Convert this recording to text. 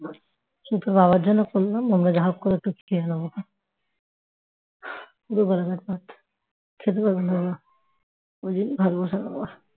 তোর বাবার জন্য করলাম আমরা যা করে কিছু খেয়ে নেব ক্ষন পুরো গলা ভাত খেতে পারবে না বাবা ওই জন্য ভাত বসালাম আবার